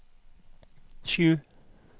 sju